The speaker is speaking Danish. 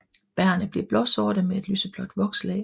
Bærrene bliver blåsorte med et lyseblåt vokslag